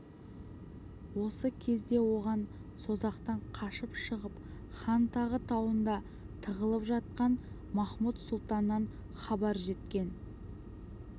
осы кезде оған созақтан қашып шығып хантағы тауында тығылып жатқан махмуд-сұлтаннан хабар жеткен